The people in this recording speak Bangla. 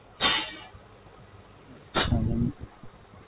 mam